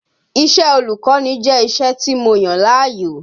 Iṣẹ́ ọlùkọ́ni jẹ́ iṣẹ́ tí mo yàn láàyò